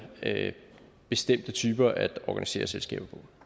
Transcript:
bestemte typer at organisere selskaber på